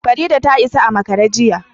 Farida ta isa a makara jiya